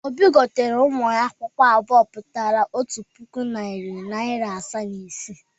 Obi gotere ụmụ ya akwụkwọ abụọ pụtara otu puku naịra, narị naịra asaa na naịra ise.